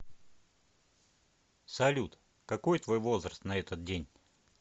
салют какой твой возраст на этот день